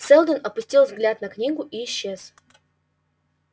сэлдон опустил взгляд на книгу и исчез